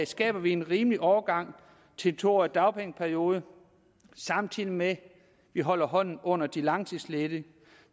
skaber vi en rimelig overgang til en to årig dagpengeperiode samtidig med at vi holder hånden under de langtidsledige